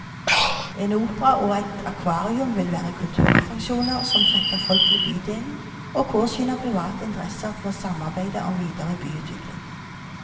En opera og et akvarium vil være kulturattraksjoner som trekker folk til bydelen og påskynder private interesser til å samarbeide om videre byutvikling.